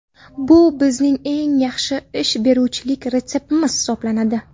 Bu bizning eng yaxshi ish beruvchilik retseptimiz hisoblanadi.